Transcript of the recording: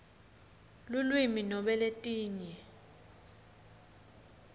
lulwimi nobe letinye